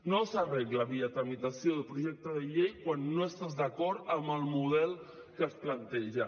no s’arregla via tramitació de projecte de llei quan no estàs d’acord amb el model que es planteja